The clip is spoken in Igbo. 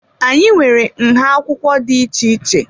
Anyị nwere nha akwụkwọ dị iche iche.